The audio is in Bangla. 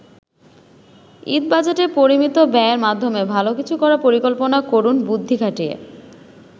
ঈদ বাজেটে পরিমিত ব্যয়ের মাধ্যমে ভালো কিছু করার পরিকল্পনা করুন বুদ্ধি খাটিয়ে।